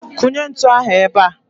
Kụnye ntụ ahụ ebea!